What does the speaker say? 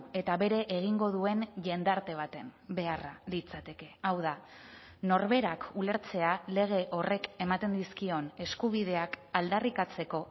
eta bere egingo duen jendarte baten beharra litzateke hau da norberak ulertzea lege horrek ematen dizkion eskubideak aldarrikatzeko